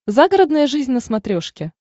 загородная жизнь на смотрешке